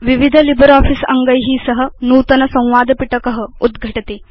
विविध लिब्रियोफिस अङ्गै सह नूतन संवाद पिटक उद्घटति